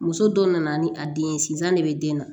Muso dɔ nana ni a den ye sizan de bɛ den na